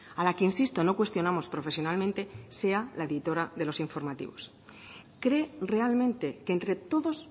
a la que insisto no cuestionamos profesionalmente sea la editora de los informativos cree realmente que entre todos